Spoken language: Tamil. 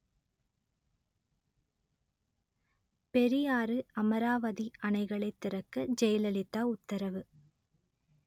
பெரியாறு அமராவதி அணைகளைத் திறக்க ஜெயலலிதா உத்தரவு